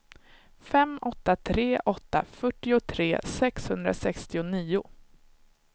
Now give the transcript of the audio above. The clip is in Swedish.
fem åtta tre åtta fyrtiotre sexhundrasextionio